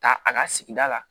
Ta a ka sigida la